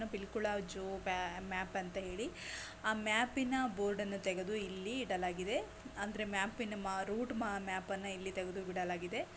Pilikula zoo map ಅಂತ ಹೇಳಿ ಆ ಮ್ಯಾಪಿನ ಬೋರ್ಡ್ ಅನ್ನು ತಗೆದ್ದು ಇಲ್ಲಿ ಇಡಲಾಗಿದೆ ಅಂದ್ರೆ ಮ್ಯಾಪಿನ ರೂಟ್ ಮ್ಯಾಪನ್ನು ಇಲ್ಲಿ ತಗೆದ್ದು ಇಡಲಾಗಿದೆ.